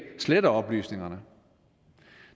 sletter oplysningerne